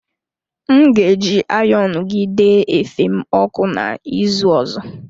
M ga-eji ayonu gị dee efe m ọkụ na ịzụ ọzọ.